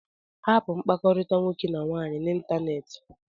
Hapụ mkpakọrịta nwoke na nwaanyị n'ịntanetị!